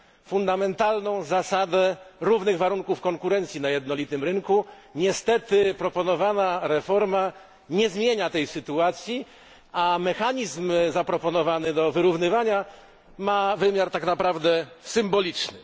fundamentalną zasadę równych warunków konkurencji na jednolitym rynku. Niestety, proponowana reforma nie zmienia tej sytuacji, a mechanizm zaproponowany do wyrównywania ma wymiar tak naprawdę symboliczny.